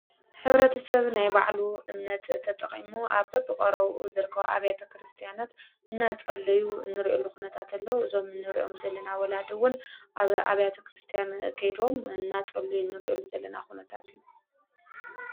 ኅብረቲ ሰብ ናይ ባዕሉ እምነት ተጠቐሙ ኣ በብቖሮዉ ዝርከብ ኣብያተ ክርስቲያናት እና ጸለዩ ንርዕሉ ኾነታትለው ዞም ንርእኦም ዘለና ወላድውን ኣብ ኣብያተ ክርስቲያን ጌይዶም እናጸለዩ ንርእዕሉ ዘለና ዂነታት እዩ።